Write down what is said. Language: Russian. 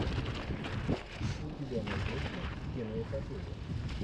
у тебя найдется киноэпопея